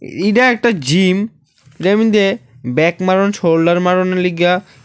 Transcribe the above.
এইডা একটা জিম যার মধ্যে ব্যাক মারন শোল্ডার মারনের লইগ্যা--